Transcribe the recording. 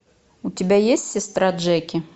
у тебя есть сестра джеки